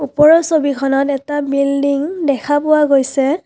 ওপৰৰ ছবিখনত এটা বিল্ডিং দেখা পোৱা গৈছে।